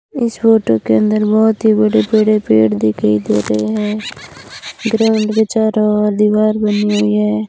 इस फोटो के अंदर बहोंत ही बड़े बड़े पेड़ दिखाई दे रहे हैं ग्राउंड के चारों दीवार बनी हुई है।